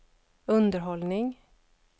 underhållning